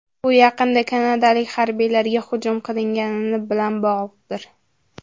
Bu yaqinda kanadalik harbiylarga hujum qilingani bilan bog‘liqdir.